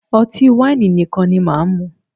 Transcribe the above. Ọtí wáìnì nìkan ni máà mú.